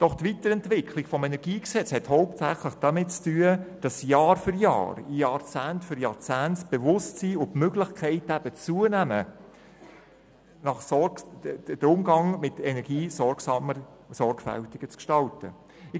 Die Weiterentwicklung des KEnG hat hauptsächlich damit zu tun, dass das Bewusstsein und die Möglichkeiten, den Umgang mit Energie sorgsamer und sorgfältiger zu gestalten, Jahr für Jahr und Jahrzehnt für Jahrzehnt zunehmen.